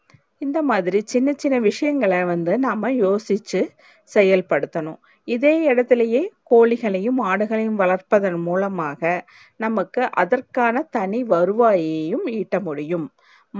இந்த மாதிரி சின்ன சின்ன விஷயங்கள வந்து நாம யோசிச்சி செயல் படுத்தன்னும் இதையே எடுத்துளே கோழிகளையும் ஆடுகளையும் வளர்ப்பதன் மூலமாக நமக்கு அதற்கான தனி வருவாயும் இட்ட முடியும்